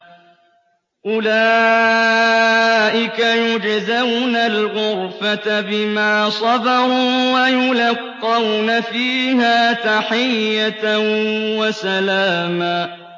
أُولَٰئِكَ يُجْزَوْنَ الْغُرْفَةَ بِمَا صَبَرُوا وَيُلَقَّوْنَ فِيهَا تَحِيَّةً وَسَلَامًا